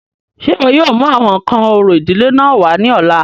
Ṣé iwọ yóò mu awọn nkan orȯ idile náà wa ni ọla?